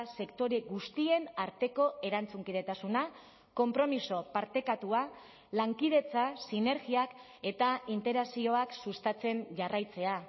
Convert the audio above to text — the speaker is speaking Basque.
sektore guztien arteko erantzunkidetasuna konpromiso partekatua lankidetza sinergiak eta interakzioak sustatzen jarraitzea